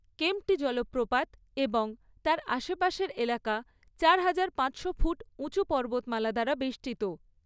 কেম্প্টি জলপ্রপাত এবং তার আশেপাশের এলাকা চার হাজার পাঁচশো ফুট উঁচু পর্বতমালা দ্বারা বেষ্টিত।